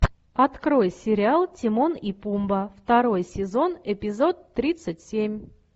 открой сериал тимон и пумба второй сезон эпизод тридцать семь